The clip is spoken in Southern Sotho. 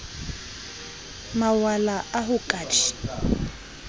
mawala a ho ka di